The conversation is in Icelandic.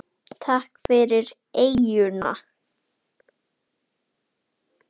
Takk fyrir eyjuna.